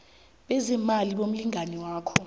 bezeemali bomlingani wakho